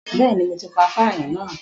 Bẹ́ẹ̀ni, mo ti pà fáánù náà